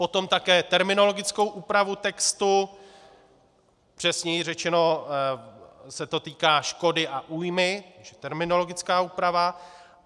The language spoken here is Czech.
Potom také terminologickou úpravu textu, přesněji řečeno se to týká škody a újmy, terminologická úprava.